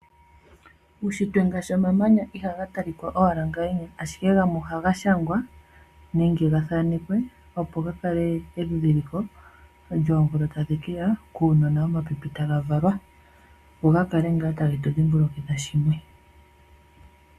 Uushitwe ngaashi omamanya iha ga talika owala ngaaka. Ashike gamwe ohaga shangwa nenge ga thanekwe opo ga kale endhindhiliko lyoomvula tadhi keya kuunona womapipi taga valwa. Opo gakale tage tu dhimbulukitha shimwe.